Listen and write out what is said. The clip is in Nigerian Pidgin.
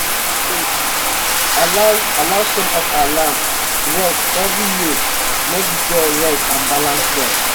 we dey um allow um allow some of our land um rest every year make d soil rest and balance well